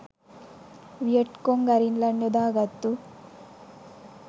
Viet Cong ගරිල්ලන් යොදාගත්තු